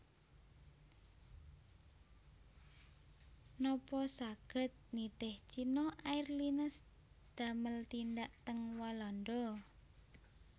Nopo saget nitih China Airlines damel tindak teng Walanda